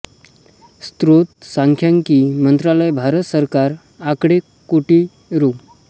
स्रोत सांख्यिकी मंत्रालय भारत सरकार आकडे कोटी रु